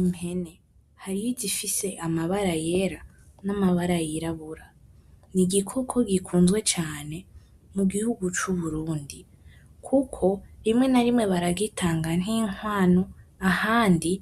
Impene, hariho izifise amabara yera n'amabara yirabura. N'igikoko gikunzwe cane, mugihugu c'Uburundi. Kuko, rimwe na rimwe baragitanga nk'inkwano, ahandi